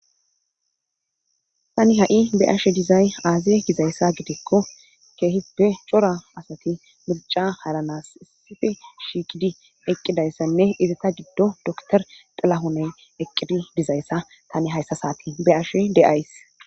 tani ha7i be' ashe dizay aaze gizayssa gidikko keehis pe cora asati mirica haranas issife shiiqidi eqqidayssanne izata giddo doktor xilahoney eqqidi dizayssa tani hayssasati be' ashe de7ays